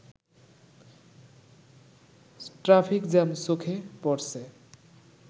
traffic jam চোখে পড়ছে